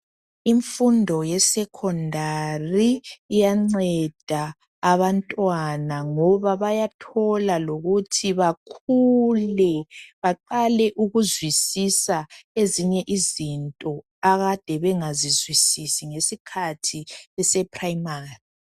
Imfundo yesekhondari iyanceda abantwana ngoba bayathola lokuthi bakhule baqale ukuzwisisa ezinye izinto akade bengazizwisisi ngesikhathi beseprayimari.